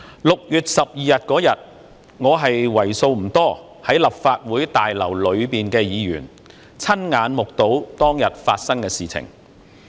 6月12日，在立法會大樓內的議員為數不多，我是其中一位，親眼目睹當天發生的事情。